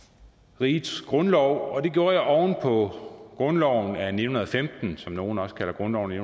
rigets grundlov og det gjorde jeg oven på grundloven af nitten femten som nogle også kalder grundloven af